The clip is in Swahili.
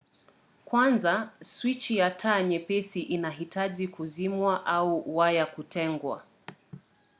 kwanza swichi ya taa nyepesi inahitaji kuzimwa au waya kutengwa